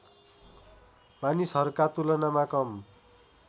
मानिसहरूका तुलनामा कम